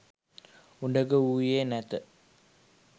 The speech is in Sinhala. උඩගුවූයේ නැත